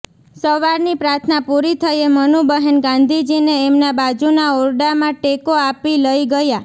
સવારની પ્રાર્થના પૂરી થયે મનુબહેન ગાંધીજીને એમના બાજુના ઓરડામાં ટેકો આપી લઈ ગયાં